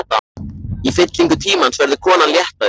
Í fyllingu tímans verður konan léttari.